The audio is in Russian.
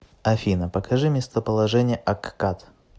афина покажи местоположение аккад